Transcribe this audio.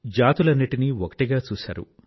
జాతులన్నింటినీ ఒకటిగా చూశారు